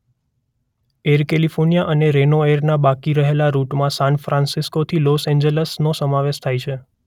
Air California અને Reno એરના બાકી રહેલા રૂટમાં સાન ફ્રાન્સિસ્કોથી લોસ એન્જલસનો સમાવેશ થાય છે.